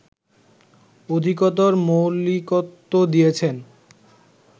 অধিকতর মৌলিকত্ব দিয়েছেন